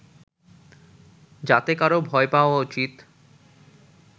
যাতে কারো ভয় পাওয়া উচিত